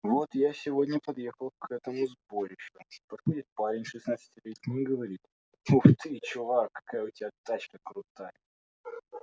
вот я сегодня подъехал к этому сборищу подходит парень шестнадцатилетний и говорит ух ты чувак какая у тебя тачка крутая